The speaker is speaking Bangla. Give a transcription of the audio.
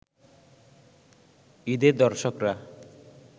ঈদে দর্শকরা